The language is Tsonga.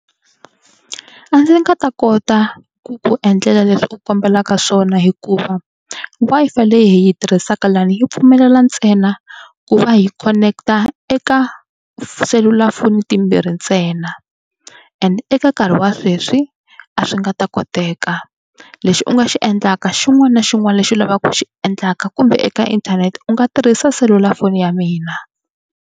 A ndzi nga ta kota ku ku endlela leswi u kombelaka swona hikuva Wi-Fi leyi hi yi tirhisaka lani yi pfumelela ntsena ku va hi connect-a eka selulafoni timbirhi ntsena and eka nkarhi wa sweswi a swi nga ta koteka. Lexi u nga xi endlaka xin'wana na xin'wana lexi u lavaka ku xi endlaka kumbe eka inthanete u nga tirhisa selulafoni ya mina.